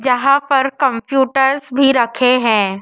जहां पर कंप्यूटर्स भी रखे है।